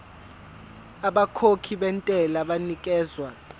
abakhokhi bentela banikezwa